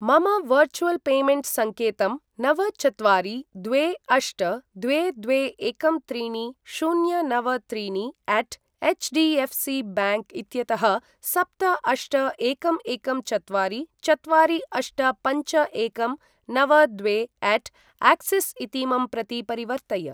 मम virtual payment संकेतं नव चत्वारि द्वे अष्ट द्वे द्वे एकं त्रीणि शून्य नव त्रीणिअट एचडीएफसी बैंक इत्यतः सप्त अष्ट एकं एकं चत्वारि चत्वारि अष्ट पञ्च एकं नव द्वेअट अक्सिस् इतीमं प्रति परिवर्तय।